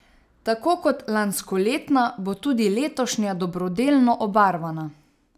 Tako kot lanskoletna, bo tudi letošnja dobrodelno obarvana.